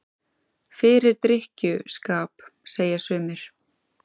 Fyrir drykkju- skap, segja sumir.